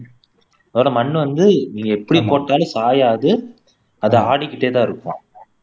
அதோட மண்ணு வந்து நீங்க எப்படி போட்டாலும் சாயாது அது ஆடிக்கிட்டேதா இருக்குமாம்